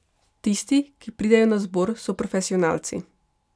Tisti, ki pridejo na zbor, so profesionalci.